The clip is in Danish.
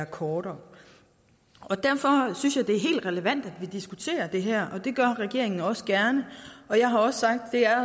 kortere derfor synes jeg det er helt relevant at vi diskuterer det her og det gør regeringen også gerne og jeg har også sagt at det er